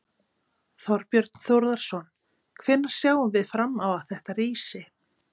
Þorbjörn Þórðarson: Hvenær sjáum við fram á þetta rísi?